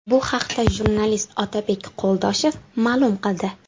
Bu haqda jurnalist Otabek Qo‘ldoshev ma’lum qildi.